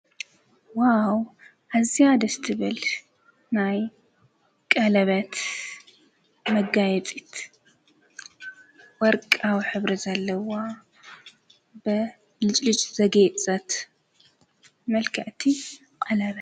ዋው እዚ ደስቲብል ናይ ቀለበት መጋይጢት ወርቃዊ ኅብሪ ዘለዋ ብ ልጭሊጭ ዘጌየጸት መልከእቲ ቐለበት እያ።